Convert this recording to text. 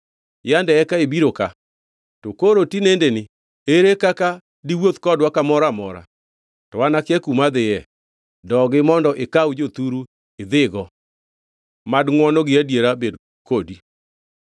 Yande eka ibiro ka. To koro tinendeni ere kaka diwuoth kodwa kamoro amora, to an akia kuma adhiye? Dogi mondo ikaw jothuru idhigo. Mad ngʼwono gi adieri bed kodi.”